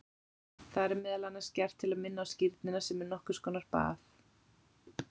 Það er meðal annars gert til að minna á skírnina sem er nokkur konar bað.